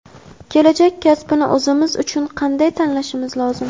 "Kelajak kasbini o‘zimiz uchun qanday tanlashimiz lozim?"